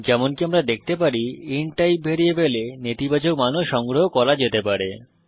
যেমনকি আমরা দেখতে পারি ইন্ট টাইপ ভ্যারিয়েবলে নেতিবাচক মানও সংগ্রহ করা যেতে পারে